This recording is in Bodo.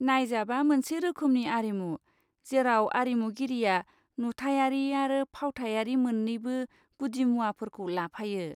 नायजाबआ मोनसे रोखोमनि आरिमु जेराव आरिमुगिरिया नुथायारि आरो फावथायारि मोन्नैबो गुदिमुवाफोरखौ लाफायो।